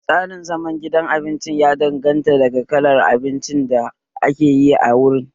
Tsarin zaman gidan abinci ya danganta daga kalar abinci da ake yi a wurin